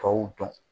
Tɔw dɔn